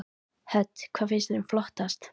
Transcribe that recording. Hödd: Hvað finnst þér flottast?